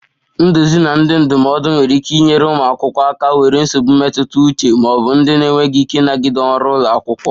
Nduzi na ndị ndụmọdụ nwere ike inyere ụmụ akwụkwọ aka nwere nsogbu mmetụta uche ma ọ bụ ndị na-enweghị ike ịnagide ọrụ ụlọ akwụkwọ